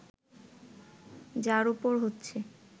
যার ওপর ইচ্ছে